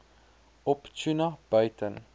op tuna buiten